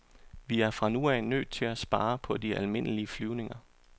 Vi er fra nu af nødt til at spare på de almindelige flyvninger.